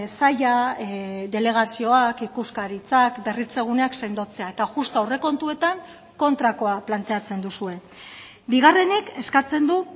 saila delegazioak ikuskaritzak berritze guneak sendotzea eta justu aurrekontuetan kontrakoa planteatzen duzue bigarrenik eskatzen du